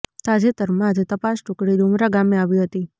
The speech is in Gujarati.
તાજેતરમાં જ તપાસ ટુકડી ડુમરા ગામે આવી હતી